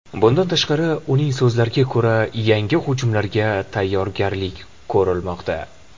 Bundan tashqari, uning so‘zlariga ko‘ra, yangi hujumlarga tayyorgarlik ko‘rilmoqda.